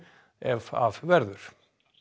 ef af verður